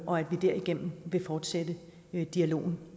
og at vi derigennem vil fortsætte dialogen